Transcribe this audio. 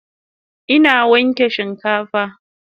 Ina wanke shinkafan